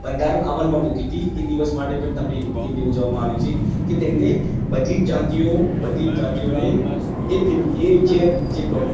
બંધારણ અમલ માં મુક્કી હતી કે એ દિવસ મમતે પણ તેમને ઉઅજ્વવા માં આવે છે કે તેને બધી જ જાતિઓ ભાધી જ જાતિઓ ને એ જે એ